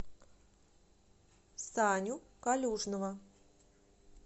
саню калюжного